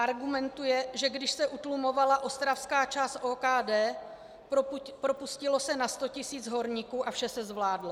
Argumentuje, že když se utlumovala ostravská část OKD, propustilo se na 100 tisíc horníků a vše se zvládlo.